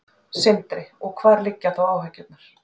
Sindri: Og hvar liggja þá áhyggjurnar?